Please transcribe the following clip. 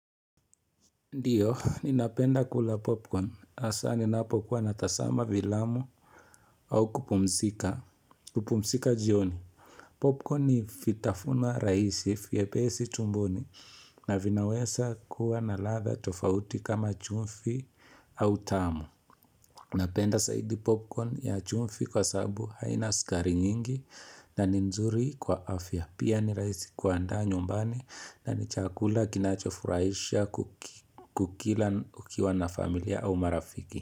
Ndiyo, ninapenda kula popcorn. Asa ninapo kuwa natazama filamu au kupumzika. Kupumzika jioni. Popcorn ni vitafunwa rahisi vyepesi tumboni na vinaweza kuwa na ladha tofauti kama chumvi au tamu. Napenda zaidi popcorn ya chumvi kwa sababu haina sukari nyingi na ni nzuri kwa afya. Pia ni rahisi kuandaa nyumbani na ni chakula kinacho furahisha kukila ukiwa na familia au marafiki.